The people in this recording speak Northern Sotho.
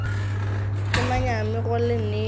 ke manyami go le nea